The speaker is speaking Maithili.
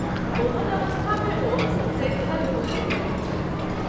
ओहन अवस्था मे ओ सदिखन दु:खित रहैत छथि।